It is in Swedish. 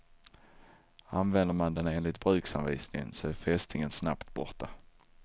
Använder man den enligt bruksanvisningen så är fästingen snabbt borta.